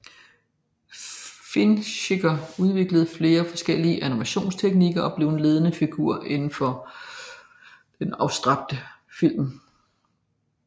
Fischinger udviklede flere forskellige animationstekniker og blev en ledende figur indenfor den abstrakte film